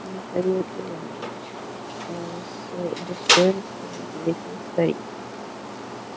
михаил иванович ээ с достоинством ответил старик